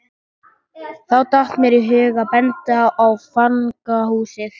Þá datt mér í hug að benda á fangahúsið.